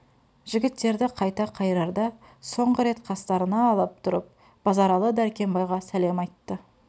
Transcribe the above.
жігіттерді қайта қайырарда соңғы рет қастарына алып тұрып базаралы дәркембайға сәлем айтты